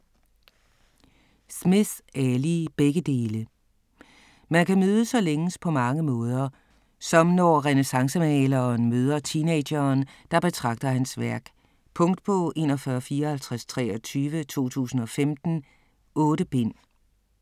Smith, Ali: Begge dele Man kan mødes og længes på mange måder, som når renæssancemaleren møder teenageren, der betragter hans værk. Punktbog 415423 2015. 8 bind.